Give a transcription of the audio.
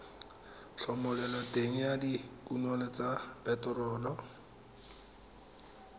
thomeloteng ya dikuno tsa phetherol